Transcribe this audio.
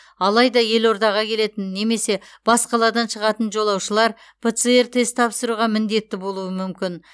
алайда елордаға келетін немесе бас қаладан шығатын жолаушылар птр тест тапсыруға міндетті болуы мүмкін